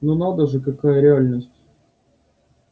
но надо же какая реальность